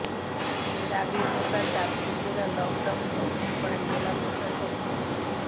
এর আগেই গোটা চাঁদপুর জেলা লকডাউন ঘোষণা করেন জেলা প্রশাসক মো